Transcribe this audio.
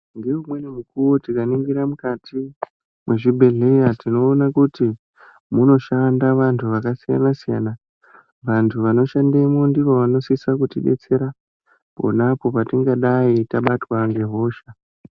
Ngeumweni mukuwo tikaningira mukati mwezvibhedhleya tinoona kuti munoshanda vantu vakasiya-nasiyana. Vantu vanoshandemwo ndivo vanosisa kutibetsera ponapo patingadai tabatwa ngehosha.